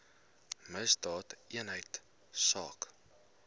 misdaadeenheidsaak